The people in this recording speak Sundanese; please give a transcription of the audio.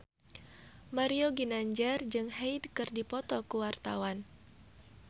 Mario Ginanjar jeung Hyde keur dipoto ku wartawan